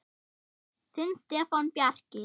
Þinn Stefán Bjarki.